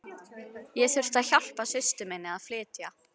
Ég þurfti að hjálpa systur minni að flytja.